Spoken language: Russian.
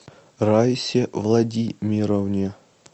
раисе владимировне